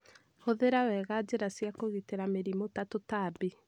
Gũthira wega njĩra cia kũgitĩra mĩrimũ na tũtambi